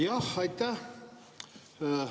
Jah, aitäh!